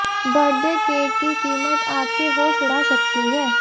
birthday cake की कीमत आपके होश उड़ा सकती है